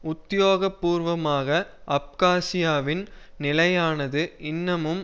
உத்தியோக பூர்வமாக அப்காசியாவின் நிலையானது இன்னமும்